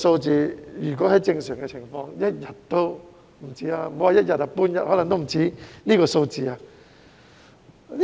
在正常情況下，莫說是一天，半天可能也不止這個數字。